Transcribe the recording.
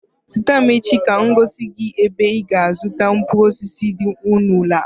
Zute m n'ahịa echi ka m gosi gị ebe ị ga-azụta mkpụrụ osisi dị ọnụ ala